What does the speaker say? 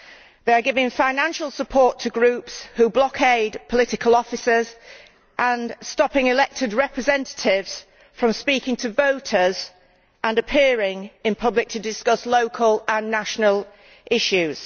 They are giving financial support to groups who blockade political offices, and stopping elected representatives from speaking to voters and appearing in public to discuss local and national issues.